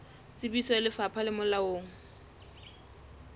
tsebiso ya lefapha le molaong